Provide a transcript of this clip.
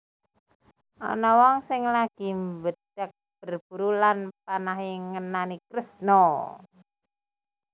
Ana wong sing lagi mbedhag berburu lan panahe ngenani Kresna